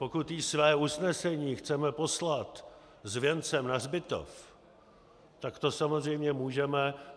Pokud jí své usnesení chceme poslat s věncem na hřbitov, tak to samozřejmě můžeme.